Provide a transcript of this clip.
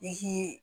I k'i